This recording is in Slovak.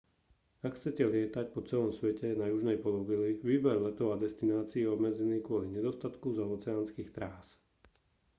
ak chcete lietať po celom svete na južnej pologuli výber letov a destinácií je obmedzený kvôli nedostatku zaoceánskych trás